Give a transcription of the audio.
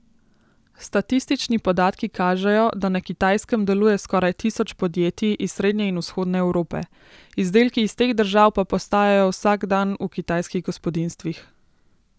Statistični podatki kažejo, da na Kitajskem deluje skoraj tisoč podjetij iz srednje in vzhodne Evrope, izdelki iz teh držav pa postajajo vsakdan v kitajskih gospodinjstvih.